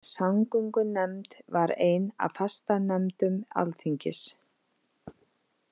Samgöngunefnd var ein af fastanefndum alþingis.